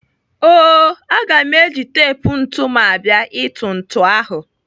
O-o, aga m eji tep ntụ m abịa ịtụ ntụ ahụ.